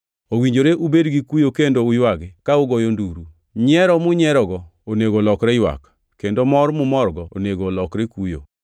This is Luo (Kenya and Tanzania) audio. Owinjore ubed gikuyo kendo uywagi, ka ugoyo nduru. Nyiero munyierogo onego olokre ywak, kendo mor mumorgo onego olokre kuyo.